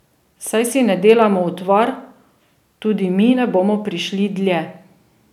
Saj si ne delamo utvar, tudi mi ne bomo prišli dlje.